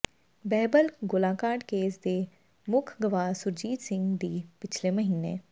ਬਹਿਬਲ ਗੋਲਾਕਾਂਡ ਕੇਸ ਦੇ ਮੁੱਖ ਗਵਾਹ ਸੁਰਜੀਤ ਸਿੰਘ ਦੀ ਪਿਛਲੇ ਮਹੀਨੇ